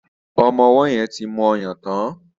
Omó owó yen tí mú ọyàn tán.